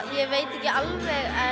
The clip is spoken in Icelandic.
ég veit ekki alveg